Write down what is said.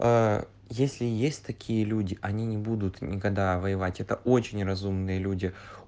если есть такие люди они не будут никогда воевать это очень разумные люди